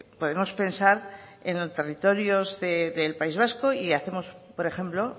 podemos pensar en los territorios del país vasco y hacemos por ejemplo